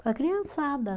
Com a criançada.